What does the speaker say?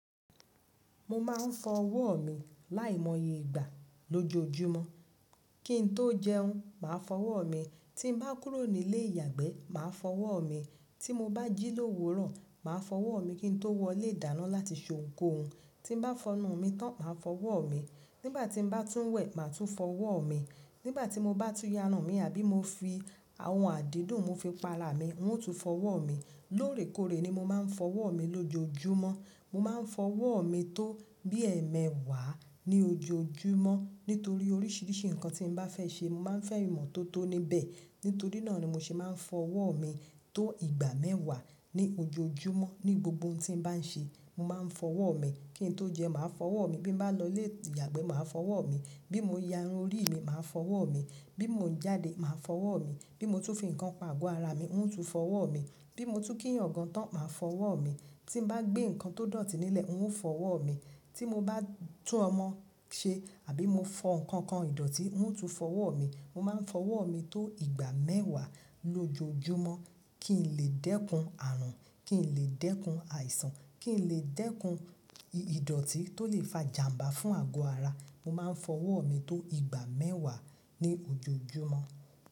Mo máa ń fọ ọwọ́ mi láìmọye ìgbà lójoojúmọ́. Kí n tó jẹun, màá fọ ọwọ́ mi. Tí n bá kúrò nílé ìyàgbẹ́, màá fọ ọwọ́ mi. Tí mo bá jí lówu rọ, màá fọ ọwọ́ mi kí n tó wọlé ìdáná láti ṣe ohunkóhun. Tí n bá fọnu mi tán, màá fọ ọwọ́ mi. Nígbà tí n bá tún wẹ̀, màá tún fọ ọwọ́ mi. Nígbà tí mo bá tún yanú mi àbí mo fi àwọn àdídùn mú fi pa ara mi, ń ò tún fọ ọwọ́ mi. Lóòrèkóòrè ni mo máa ń fọ ọwọ́ mi lójoojúmọ́. Mo máa ń fọ ọwọ́ mi tó bí ẹẹmẹwàá ní ojoojúmọ́. Nítorí oríṣiríṣi nǹkan tí n bá fẹ́ ṣe, mo máa ń fẹ́ràn ìmọ́tótó níbẹ̀. Nítorí náà ni mo ṣe máa ń fọ ọwọ́ mi tó ìgbà mẹ́wàá ní ojoojúmọ́. Ni gbogbo ohun tí n bá ń ṣe, mo máa ń fọ ọwọ́ mi. Kí n tó jẹun, màá fọ ọwọ́ mi. Bí n bá lọ lé ìyàgbẹ́, màá fọ ọwọ́ mi. Bí mo yanú orí mi, màá fọ ọwọ́ mi. Bí mo ń jáde, màá fọ ọwọ́ mi. Bí mo tún fi nǹkan pa ago ara mi, ń ò tún fọ ọwọ́ mi. Bí mo tún kíyàn gan tán, màá fọ ọwọ́ mi. Tí n bá gbé nǹkan tó dọ̀tí nílẹ̀, ń ò fọ ọwọ́ mi. Tí mo bá tún ọmọ ṣe àbí mo fọ nǹkan ìdọ̀tí, ń ò tún fọ ọwọ́ mi. Mo máa ń fọ ọwọ́ mi tó ìgbà mẹ́wàá lójoojúmọ́ kí n lè dẹ́kun àrùn, kí n lè dẹ́kun àìsàn, kí n lè dẹ́kun ìdọ̀tí tó lè fa ìjàmbá fún ago ara. Mo máa ń fọ ọwọ́ mi tó ìgbà mẹ́wàá ní ojoojúmọ́.